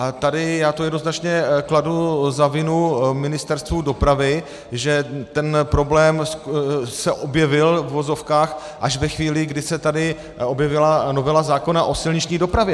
A tady já to jednoznačně kladu za vinu Ministerstvu dopravy, že ten problém se objevil, v uvozovkách, až ve chvíli, kdy se tady objevila novela zákona o silniční dopravě.